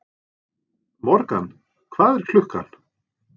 Morgan, hvað er klukkan?